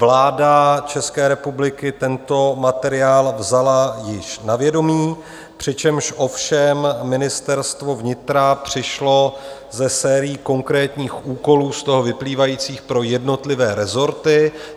Vláda České republiky tento materiál vzala již na vědomí, přičemž ovšem Ministerstvo vnitra přišlo se sérií konkrétních úkolů z toho vyplývajících pro jednotlivé rezorty.